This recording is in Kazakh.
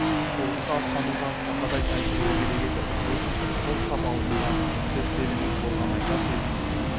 соғысқа аттануға сақадай сай тұруы керек еді вотинцев сол сап алдында сөз сөйлемек болған айтар сөзін